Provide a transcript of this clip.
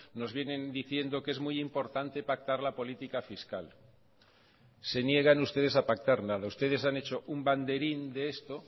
nos vienen diciendo que es muy importante pactar la política fiscal se niegan ustedes a pactar nada ustedes han hecho un banderín de esto